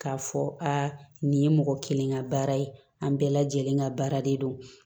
K'a fɔ aa nin ye mɔgɔ kelen ka baara ye an bɛɛ lajɛlen ka baara de don